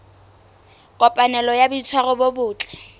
kopanelo ya boitshwaro bo botle